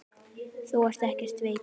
Þú ert ekkert veikur.